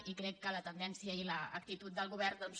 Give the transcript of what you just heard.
i crec que la tendència i l’actitud del govern doncs